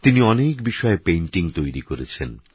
তিনিঅনেকবিষয়েপেইন্টিং তৈরিকরেছেন